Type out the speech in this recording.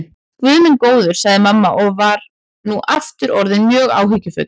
Guð minn góður, sagði mamma og var nú aftur orðin mjög áhyggjufull.